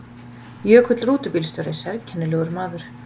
Jökull rútubílstjóri sérkennilegur maður.